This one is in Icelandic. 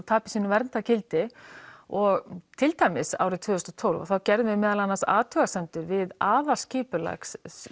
tapi sínu verndargildi og til dæmis árið tvö þúsund og tólf þá gerðum við meðal annars athugasemdir við aðalskipulag